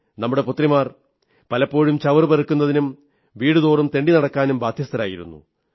നമ്മുടെ പുത്രിമാർ പലപ്പോഴും ചവറുപെറുക്കുന്നതിനും വീടുതോറും തെണ്ടി നടക്കാനും ബാധ്യസ്ഥരായിരുന്നു